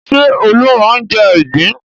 Ṣé Olú máa ń jẹ ìgbín?